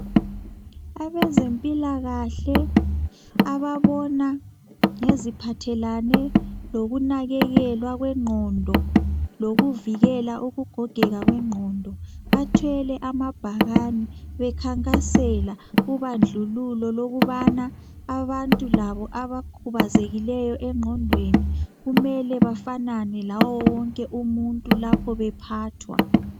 Abezempilakahle ababona ngeziphathelane lokunakekelwa kwegqondo lokuvikela ukugogeka kwengqondo. Bathwele amabhakani bekhankasela ubandlululo ukubana abantu labo abakhubazekileyo engqondweni kumele bafanane lawo wonke umuntu lapho bephathwa